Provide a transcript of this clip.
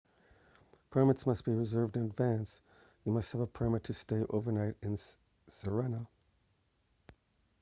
permits must be reserved in advance you must have a permit to stay overnight at sirena